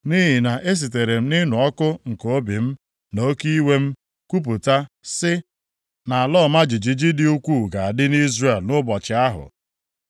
Nʼihi na esitere m nʼịnụ ọkụ nke obi m, na oke iwe m kwupụta sị, na ala ọma jijiji dị ukwuu ga-adị nʼIzrel nʼụbọchị ahụ.